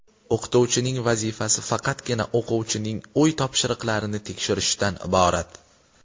O‘qituvchining vazifasi faqatgina o‘quvchining uy topshiriqlarini tekshirishdan iborat.